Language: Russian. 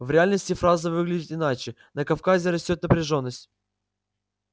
в реальности фраза выглядит иначе на кавказе растёт напряжённость